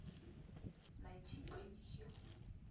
найти бенни хилл